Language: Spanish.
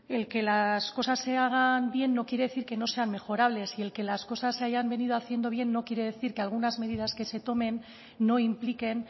el que las cosas se hagan bien no quiere decir que no sean mejorables y el que las cosas se hayan venido haciendo bien no quiere decir que algunas medidas que se tomen no impliquen